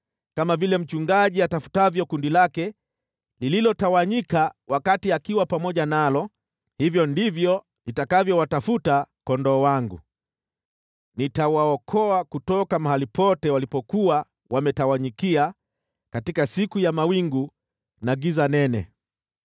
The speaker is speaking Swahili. Kama vile mchungaji atafutavyo kundi lake lililotawanyika wakati akiwa pamoja nalo, hivyo ndivyo nitakavyowatafuta kondoo wangu. Nitawaokoa kutoka mahali pote walipokuwa wametawanyikia katika siku ya mawingu na giza nene.